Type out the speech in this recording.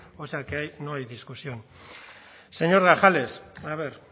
o sea que ahí no hay discusión señor grajales a ver